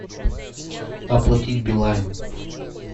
оплатить билайн